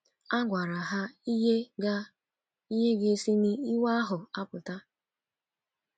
A gwaraha ihe ga - ihe ga - esi n’ịwa ahụ a pụta.